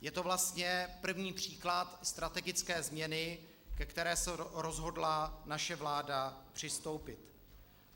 Je to vlastně první příklad strategické změny, ke které se rozhodla naše vláda přistoupit.